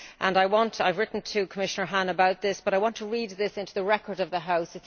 I have written to Commissioner Hahn about this, but I want to read this into the record of the House.